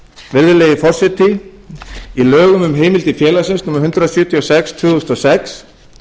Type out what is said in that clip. virðulegi forseti í lögum um heimildir félagsins númer hundrað sjötíu og sex tvö þúsund og sex